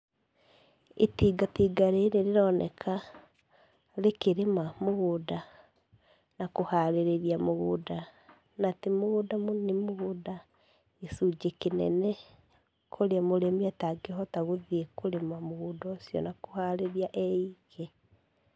Itingatinga rĩrĩ rĩroneka rĩkĩrĩma mũgũnda na kũharĩria mũgũnda. Na ti mũgũnda mũnini nĩ gĩcunjĩ kĩnene, kũrĩa mũrĩmi atangĩhota gũthiĩ kũrĩma mũgũnda ũcio ee wike.